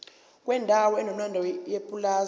kwendawo enomlando yepulazi